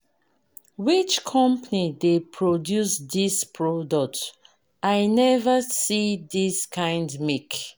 Which company dey produce this product, I never see this kind make.